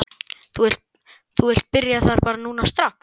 Þú vilt byrja þar bara núna strax?